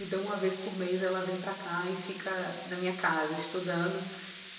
Então uma vez por mês ela vem para cá e fica na minha casa estudando.